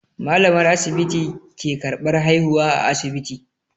Malamar asibiti ke karban haihuwa a asibiti.